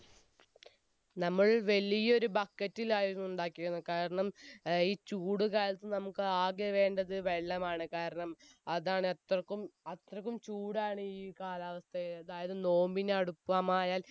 നമ്മൾ വലിയൊരെ bucket റ്റിലായിരുന്നു ഉണ്ടാക്കി ഇരുന്നു കാരണം ഈ ചൂടുകാലത്ത് നമ്മുക്ക് ആകെ വേണ്ടത് വെള്ളമാണ് കാരണം അതാനു അത്രക്കും അത്രക്കും ചൂടാണ് ഈ കാലാവസ്ഥയിൽ അതായത് നോമ്പിന് അടുപ്പമായാൽ